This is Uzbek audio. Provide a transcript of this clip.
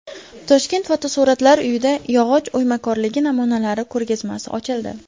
Toshkent fotosuratlar uyida yog‘och o‘ymakorligi namunalari ko‘rgazmasi ochildi .